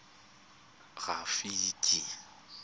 rafiki